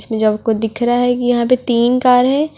जब को दिख रहा है कि यहां पे तीन कार है।